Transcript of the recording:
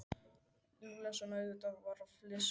Lúlla sem auðvitað fór að flissa líka.